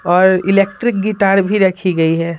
और electric guitar भी रखी गई है।